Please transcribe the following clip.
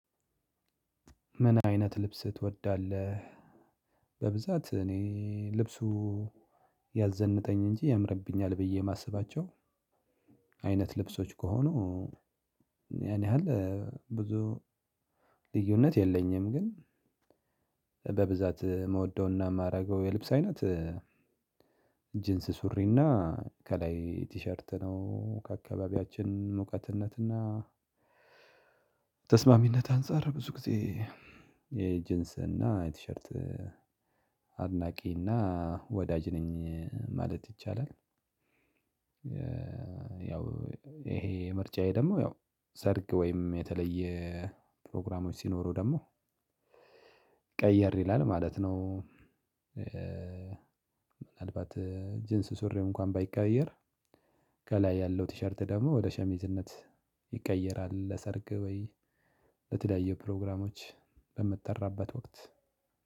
ምን አይነት ልብስ ትወዳለህ? በብዛት እኔ ልብሱ ያዘንጠኝ እንጂ ያምርብኛል ብዬ የማስባቸው አይነት ልብሶች ከሆኑ ያን ያህል ብዙ ልዩነት የለኝም። ግን በብዛት ምወደውና የማደርገው የልብስ አይነት ጂንስ ሱሪና ከላይ ቲሸርት ነው ከአካባቢያችንም ሞቃትነትና ተስማሚነት አንፃር ብዙ ጊዜ የጅንስ እና የቲሸርት አድናቂ እና ወዳጅ ነኝ ማለት ይቻላል። ያው ይሄ ምርጫዬ ደግሞ ያው ሰርግ ወይም የተለየ ፕሮግራሞች ሲኖሩ ደግሞ ቀየር ይላል ማለት ነው። ምናልባት ጂንስ ሱሪ እንኳን ባይቀያየር ከላይ ያለው ቲሸርት ደግሞ ወደ ሸሚዝነት ይቀየራል ለሰርግ ወይ ለተለያየ ፕሮግራሞች በምትጠራበት ወቅት።